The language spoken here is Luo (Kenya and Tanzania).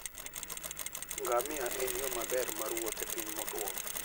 Ngamia en yo maber mar wuoth e piny motwo.